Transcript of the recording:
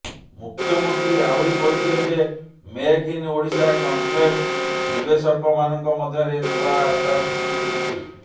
ମୁଖ୍ୟମନ୍ତ୍ରୀ ଆହୁରି କହିଥିଲେ ଯେ ମେକ୍ ଇନ୍ ଓଡ଼ିଶା କନକ୍ଲେଭ ନିବେଶକମାନଙ୍କ ମଧ୍ୟରେ ନୂଆ ଆସ୍ଥା ସୃଷ୍ଟି କରିଛି